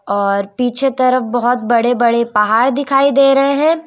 और पीछे तरफ बहोत बड़े बड़े पहाड़ दिखाई दे रहे हैं।